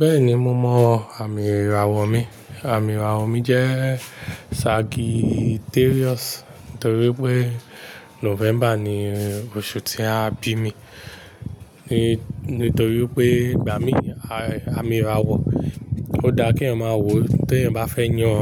Bẹ́ẹ̀ni mo mọ àmì ìràwọ̀ mi, àmì ìràwọ̀ mi jẹ́ Sagittarius nítorí pé November ni oṣù tí a bí mi. Nítorí pé gbà mí àmì ìràwọ̀ ó dá kí eeyan ma wò tí ẹeyan bá fẹ́ yan